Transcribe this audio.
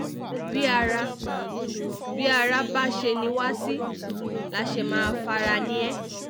bí ara bí ara bá ṣe ni wá sí la ṣe máa fara ni é